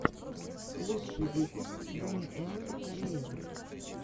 лучший выпуск даниэлы гареевой